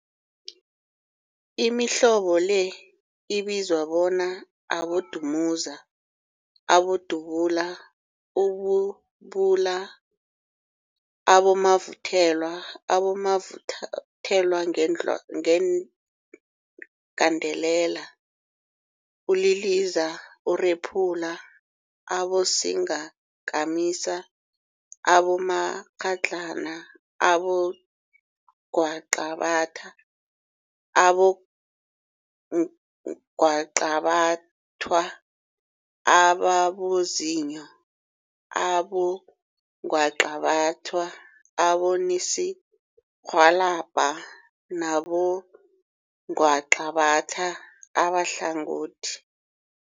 Imihlobo le ibizwa bona abodumuza, abodubula, ububula, abomavuthelwa, abomavuthelwagandelela, uliliza, urephula, abosingakamisa, abomakghadlana, abongwaqabathwa, abongwaqabathwa ababozinyo, abongwaqabathwa abosininirhwalabha nabongwaqabatha abahlangothi.